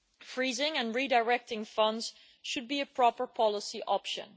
Freezing and redirecting funds should be a proper policy option.